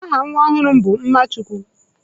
Aha nwa ọhụrụ m bụ Mmachukwu.